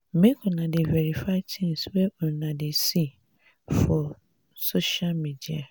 make una dey verify tins wey una dey see for dey see for social media o.